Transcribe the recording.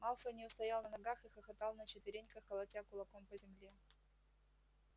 малфой не устоял на ногах и хохотал на четвереньках колотя кулаком по земле